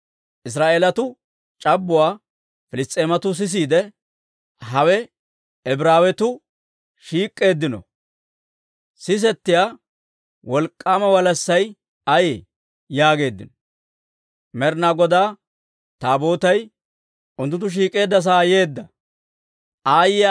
Israa'eelatuwaa c'abbuwaa Piliss's'eematuu sisiide, «Hawe Ibraawetuu shiik'k'eeddasan sisettiyaa, wolk'k'aama walassay ayee?» yaageeddino. Med'inaa Godaa Taabootay unttunttu shiik'k'eedda sa'aa yeeddawaa Piliss's'eematuu eriide yayyeeddino.